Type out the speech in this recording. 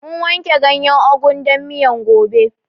Mun wanke ganyen ugun dan miyan gobe